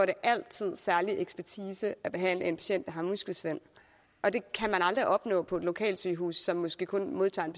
det altid særlig ekspertise at behandle en patient der har muskelsvind og det kan man aldrig opnå på et lokalsygehus som måske kun modtager en